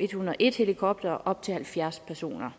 eh101 helikoptere og op til halvfjerds personer